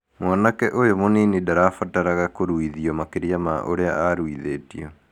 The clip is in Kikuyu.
"Mwanake ũyũ mũnini ndabataraga kũrũithio makĩria ma ũrĩa arũithĩtio.